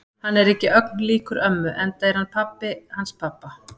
Hann er ekki ögn líkur ömmu enda er hann pabbi hans pabba.